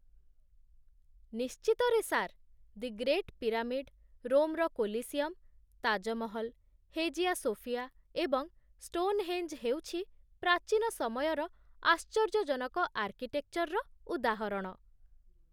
ନିଶ୍ଚିତରେ, sir the great pyramid, ରୋମର Colosseum, Taj Mahal, Hagia Sophia, ଏବଂ Stonehenge ହେଉଛି ପ୍ରାଚୀନ ସମୟର ଆଶ୍ଚର୍ଯ୍ୟଜନକ ଆର୍କିଟେକ୍ଚର୍‌ର ଉଦାହରଣ